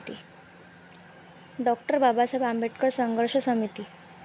डॉ. बाबासाहेब आंबेडकर संघर्ष समिती